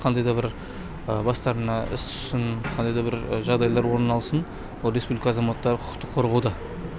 қандай да бір бастарына іс түссін қандай да бір жағдайлар орын алсын ол республика азаматтары құқықтық қорғауда